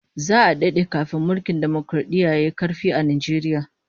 Za'a dade kafin mulkin dimokaradiyya yayi karfi a Najeriya